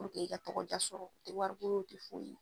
i ka tɔgɔja sɔrɔ i wari koo te foyi ye.